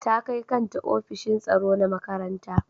Ta kai kanta ofishin tsaro na makaranta.